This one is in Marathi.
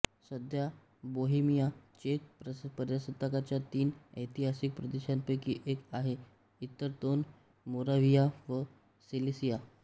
सध्या बोहेमिया चेक प्रजासत्ताकाच्या तीन ऐतिहासिक प्रदेशांपैकी एक आहे इतर दोन मोराव्हिया व सिलेसिया